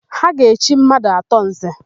Ha ga-echi mmadụ atọ Nze.